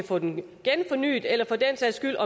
få den fornyet eller for den sags skyld